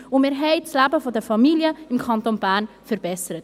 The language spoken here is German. Und wir haben das Leben der Familien im Kanton Bern verbessert.